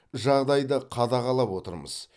жағдайды қадағалап отырмыз